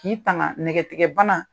K'i tanga nɛgɛtigɛbana.